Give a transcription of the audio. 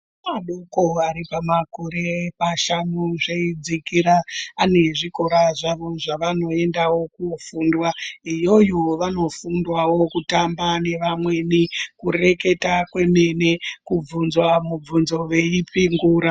Kubva pamakore mashanu zveidzikira ane zvikora zvavo zvavoendawo kofunda. Iyoyo vanofundawo kutamba nevamweni kureketa kwemene kubvunzwa mibvunzo veipingura.